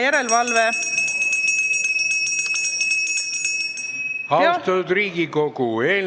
Austatud Riigikogu!